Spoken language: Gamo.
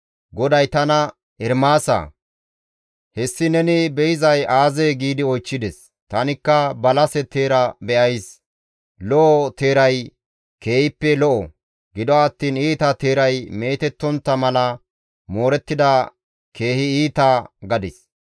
GODAY tana, «Ermaasa, hessi neni be7izay aazee?» giidi oychchides. Tanikka, «Balase teera be7ays; lo7o teeray keehippe lo7o; gido attiin iita teeray meetettontta mala moorettida keehi iita» gadis.